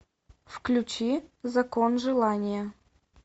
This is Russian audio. включи закон желания